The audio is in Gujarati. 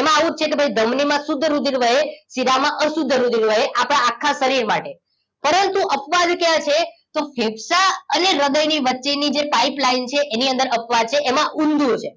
એમાં આવુજ છે કે ભઈ ધમની માં શુદ્ધ રુધિર વહે શીરા માં અશુદ રુધિર વહે આપણા આખા શરીર માટે પરંતુ અપવાદ ક્યાં છે તો ફેફસા અને હ્રદય ની વચ્ચે ની જે પાઇપલાઇન છે એની અંદર અપવાદ છે એમાં ઊંધું છે